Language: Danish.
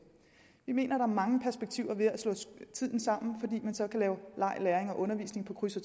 vi mener er mange perspektiver ved at slå tiden sammen fordi man så kan lave leg læring og undervisning på kryds